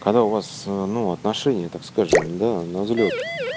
когда у вас ну отношения так скажем ну да на взлёт